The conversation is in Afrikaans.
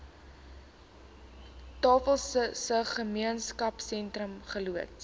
tafelsig gemeenskapsentrum geloods